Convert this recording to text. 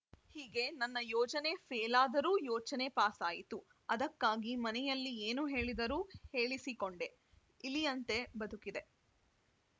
ಹೀಗೆ ನನ್ನ ಯೋಜನೆ ಫೇಲಾದರೂ ಯೋಚನೆ ಪಾಸಾಯಿತು ಅದಕ್ಕಾಗಿ ಮನೆಯಲ್ಲಿ ಏನು ಹೇಳಿದರೂ ಹೇಳಿಸಿಕೊಂಡೆ ಇಲಿಯಂತೆ ಬದುಕಿದೆ